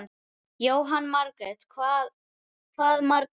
Jóhanna Margrét: Hvað margar?